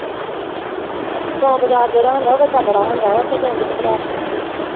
ਸੋਮ ਬਜ਼ਾਰ ਜਿਹੜਾ ਹੁੰਦਾ ਉਹ ਵੱਡਾ ਬੜਾ ਹੁੰਦਾ ਉੱਥੇ ਤੇ ਆਂਦੇ ਘਬਰਾਹਟ ਹੋ ਜਾਂਦੀ ਆ।